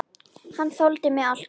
Hann þoldi mig alltaf.